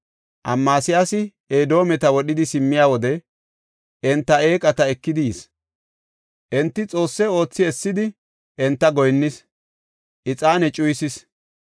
Amasiyaasi Edoometa wodhidi simmiya wode enta eeqata ekidi yis. Enta xoosse oothi essidi enta goyinnis; ixaane cuyisis.